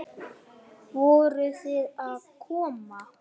Voruð þið að koma?